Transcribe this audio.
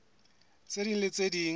tse ding le tse ding